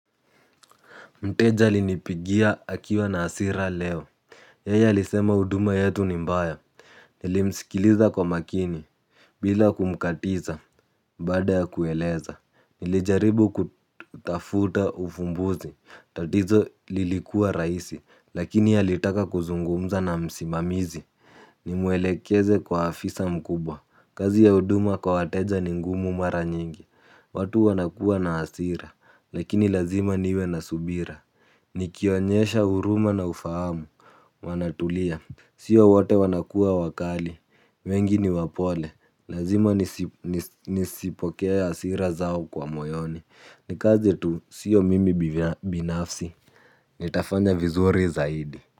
Mteja alinipigia akiwa na asira leo yeye alisema huduma yetu ni mbaya. Nilimsikiliza kwa makini bila kumkatiza baada ya kueleza nilijaribu kutafuta ufumbuzi. Tatizo lilikuwa raisi. Lakini alitaka kuzungumza na msimamizi. Nimuelekeze kwa afisa mkubwa. Kazi ya uduma kwa wateja ni ngumu mara nyingi. Watu wanakua na asira. Lakini lazima niwe na subira nikionyesha huruma na ufahamu. Wanatulia. Sio wote wanakuwa wakali. Wengi ni wapole. Lazima nisipokee asira zao kwa moyoni. Ni kazi tu sio mimi binafsi. Nitafanya vizuri zaidi.